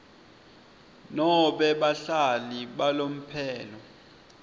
nobe bahlali balomphelo